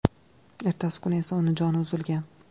Ertasi kuni esa uning joni uzilgan.